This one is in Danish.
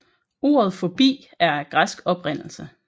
Ordet fobi er af græsk oprindelse